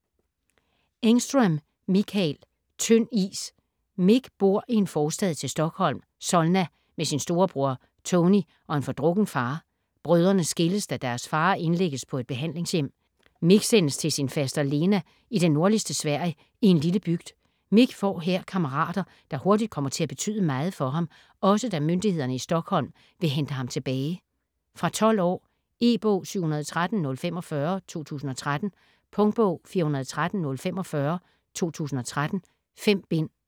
Engström, Mikael: Tynd is Mik bor i en forstad til Stockholm, Solna, med sin storebror, Tony, og en fordrukken far. Brødrene skilles, da deres far indlægges på et behandlingshjem. Mik sendes til sin Faster Lena i det nordligste Sverige en lille bygd. Mik får her kammerater, der hurtigt kommer til at betyde meget for ham, også da myndighederne i Stockholm vil hente ham tilbage. Fra 12 år. E-bog 713045 2013. Punktbog 413045 2013. 5 bind.